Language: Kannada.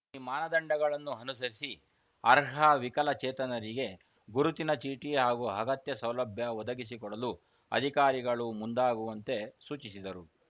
ಈ ಮಾನದಂಡಗಳನ್ನು ಅನುಸರಿಸಿ ಅರ್ಹ ವಿಕಲಚೇತನರಿಗೆ ಗುರುತಿನ ಚೀಟಿ ಹಾಗೂ ಅಗತ್ಯ ಸೌಲಭ್ಯ ಒದಗಿಸಿಕೊಡಲು ಅಧಿಕಾರಿಗಳು ಮುಂದಾಗುವಂತೆ ಸೂಚಿಸಿದರು